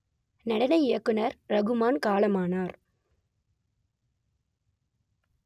நடன இயக்குனர் ரகுமான் காலமானார்